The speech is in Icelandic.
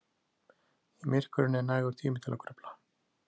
Í myrkrinu er nægur tími til að grufla.